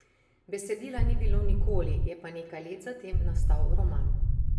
Besedila ni bilo nikoli, je pa nekaj let za tem nastal roman.